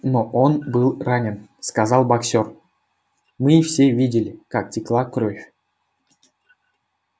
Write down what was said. но он был ранен сказал боксёр мы все видели как текла кровь